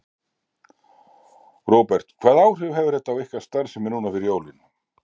Róbert: Hvaða áhrif hefur þetta á ykkar starfsemi núna fyrir jólin?